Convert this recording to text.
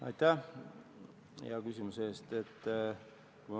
Aitäh hea küsimuse eest!